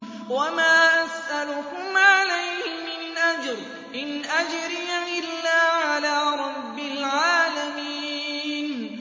وَمَا أَسْأَلُكُمْ عَلَيْهِ مِنْ أَجْرٍ ۖ إِنْ أَجْرِيَ إِلَّا عَلَىٰ رَبِّ الْعَالَمِينَ